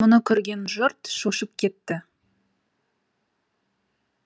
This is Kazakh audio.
мұны көрген жұрт шошып кетті